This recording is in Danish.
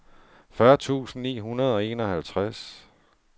fyrre tusind ni hundrede og enoghalvtreds